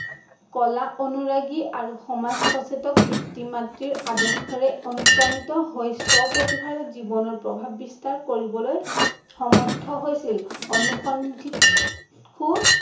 কলা অনুৰাগী আৰু সামজ সচেতেক পিতৃ- মাতৃ আদৰ্শৰে অনুপ্ৰাণিত হৈ স্বপ্ৰতিভাৰে জীৱনৰ প্ৰভাৱ বিস্তাৰ কৰিবলৈ সমৰ্থ হৈছিল । অনুসন্ধিতসু